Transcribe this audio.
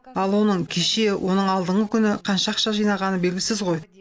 ал оның кеше оның алдыңғы күні қанша ақша жинағаны белгісіз ғой